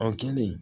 An kɛlen